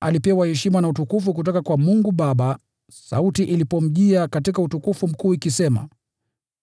Alipewa heshima na utukufu kutoka kwa Mungu Baba, sauti ilipomjia katika Utukufu Mkuu, ikisema,